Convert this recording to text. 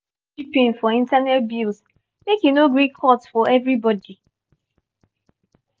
each housemate dey chip in for internet bills make e no gree cut for everybody.